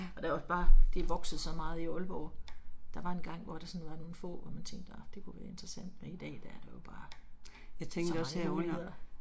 Og der er også bare, det er vokset så meget i Aalborg. Der var engang hvor det sådan var nogle få hvor man tænkte ah det kunne være interessant, men i dag der er der jo bare så mange muligheder